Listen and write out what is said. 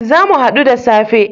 Zamu hadu da safe